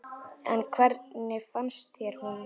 En hvernig fannst þér hún?